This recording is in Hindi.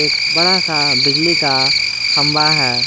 एक बड़ा सा बिजली का खंबा है।